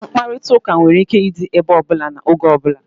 Nkparịta ụka nwere ike ịdị ebe ọbụla na n'oge ọbula